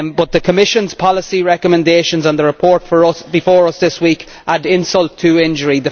The Commission's policy recommendations and the report before us this week add insult to injury.